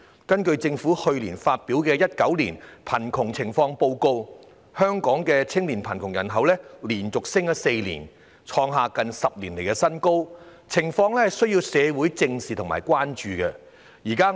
根據政府去年發表的《2019年香港貧窮情況報告》，香港青年貧窮人口連升4年，創下近10年新高，情況需要社會正視和關注。